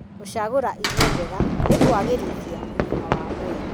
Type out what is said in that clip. Gũcagũra irio njega no kwagĩrithie ũgima wa mwĩrĩ.